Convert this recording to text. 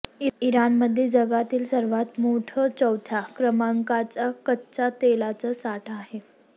इराणमध्ये जगातील सर्वांत मोठं चौथ्या क्रमांकाचा कच्च्या तेलाचा साठा आहे